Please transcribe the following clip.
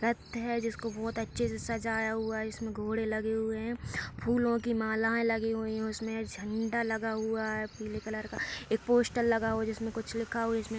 रथ है जिसको बोहोत अच्छे से सजाया हुआ है जिसमें घोड़े लगे हुए हैं। फूलों की मालाएं लगी हुई हैं। उसमें झंडा लगा हुआ है पीले कलर का। एक पोस्टर लगा है जिसमें कुछ लिखा हुआ है।